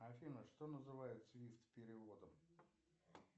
афина что называют свифт переводом